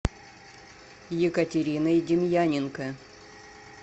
екатериной демьяненко